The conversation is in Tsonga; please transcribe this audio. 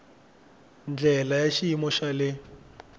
ndlela ya xiyimo xa le